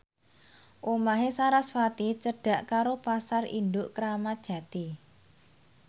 omahe sarasvati cedhak karo Pasar Induk Kramat Jati